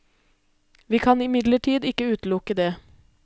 Vi kan imidlertid ikke utelukke det.